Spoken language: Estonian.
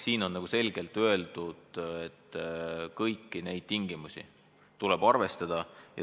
Siin on selgelt öeldud, et kõiki neid tingimusi tuleb arvestada.